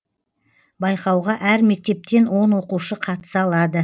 байқауға әр мектептен он оқушы қатыса алады